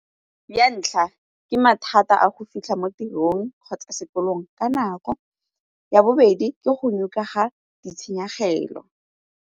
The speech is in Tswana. Ya ntlha, ke mathata a go fitlha mo tirong kgotsa sekolong ka nako. Ya bobedi, ke go ga ditshenyegelo.